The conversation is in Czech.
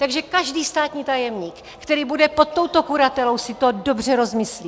Takže každý státní tajemník, který bude pod touto kuratelou, si to dobře rozmyslí.